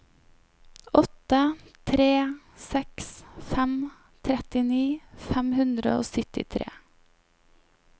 åtte tre seks fem trettini fem hundre og syttitre